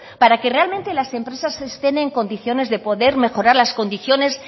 para que realmente las empresas estén en condiciones de poder mejorar las condiciones